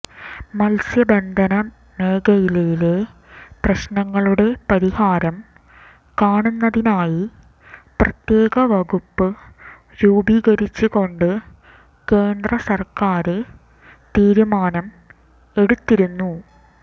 മത്സ്യബന്ധന മേഖലയിലെ പ്രശ്നങ്ങളുടെ പരിഹാരം കാണുന്നതിനായി പ്രത്യേക വകുപ്പ് രൂപീകരിച്ചുകൊണ്ട് കേന്ദ്രസര്ക്കാര് തീരുമാനം എടുത്തിരുന്നു